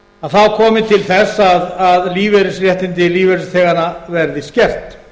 að þá komi til þess að lífeyrisréttindi lífeyrisþeganna verið skertar